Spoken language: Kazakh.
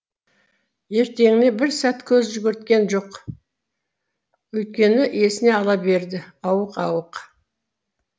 ертеңіне бір сәт көз жүгірткен жоқ өйткені есіне ала берді ауық ауық